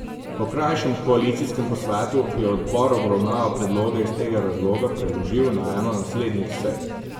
Po krajšem koalicijskem posvetu je odbor obravnavo predloga iz tega razloga preložil na eno naslednjih sej.